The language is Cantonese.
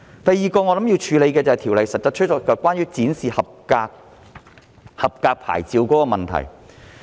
第二個我認為要處理的問題，就是《條例草案》中關於展示合格牌照的問題。